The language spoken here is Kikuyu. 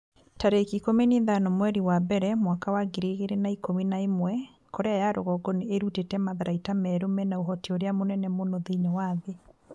tarĩki ikũmi na ithano mweri wa mbere mwaka wa ngiri igĩrĩ na ikũmi na ĩmwe Korea ya rũgongo nĩ ĩrutĩte matharaita merũ mena ũhoti ũrĩa mũnene mũno thĩinĩ wa thĩ.'